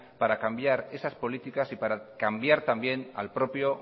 para cambiar esas políticas y para cambiar también al propio